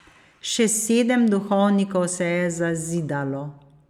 Še sedem duhovnikov se je zazidalo.